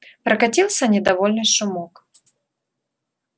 прокатился недовольный шумок